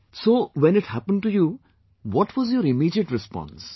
So, when it happened to you, what was your immediate response